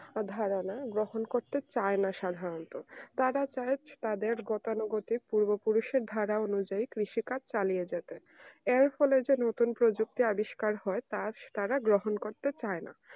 ধারণা যখন করতে চায় না সাধারণত তারা চায় তাদের গতানুগতিক পূর্বপুরুষের ধারা অনুযায়ী কৃষিকাজ চালিয়ে যেতেএর ফলে যে নতুন প্রযুক্তি আবিষ্কার হয় তার তারা বহন করতে চায় না